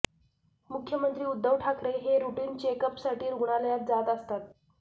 मुख्यमंत्री उद्धव ठाकरे हे रुटीन चेकअपसाठी रुग्णालयात जात असतात